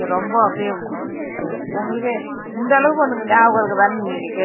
ரொம்ப அப்படியே உங்களுக்கு இந்த அளவு உனக்கு ஞாபகம் இருக்குதான்னு நீங்க கேப்பிங்க